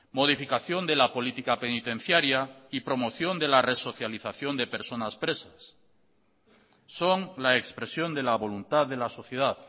modificación de la política penitenciaria y promoción de la resocialización de personas presas son la expresión de la voluntad de la sociedad